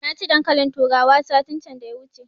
Na ci dankalin turawa satin can da ya wuce